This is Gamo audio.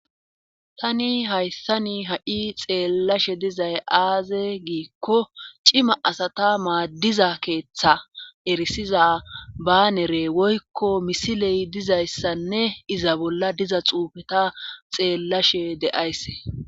tani hayssani ha7i xeellashe dizay aaze giikko cima asata maddiza keetha erissiza baneree woykko misiley dizayssanne iza bolla diza xuufeta xeellashe de7ays.